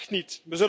echt niet